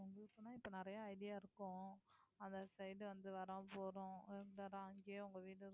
இப்ப நிறைய idea இருக்கும் அந்த side ஏ வந்து வர்றோம் போறோம் அங்கேயே உங்க வீடு இருக்கு